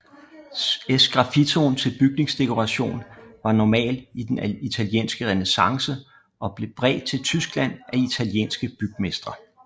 Sgraffitoen til bygningsdekoration var normal i den italienske renæssance og blev bredt til Tyskland af italienske bygmestre